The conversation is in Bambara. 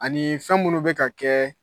Anii fɛn minnu bɛ ka kɛɛ